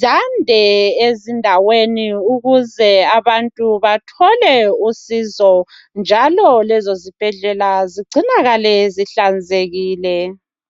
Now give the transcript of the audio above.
zande ezindaweni ukuze abantu bathole usizo njalo lezozibhedlela zigcinakale zihlanzekile.